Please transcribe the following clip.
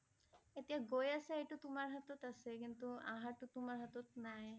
এতিয়া গৈ আছা এইটো তোমাৰ হাতত আছে । কিন্তু অহাৰ টো তোমাৰ হাতত নাই